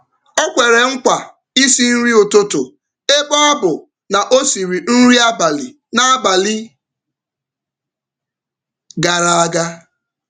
Ọ kwere Ọ kwere nkwa isi nri ụtụtụ ebe ọ bụ na ọ siri nri abalị n’abalị gara aga.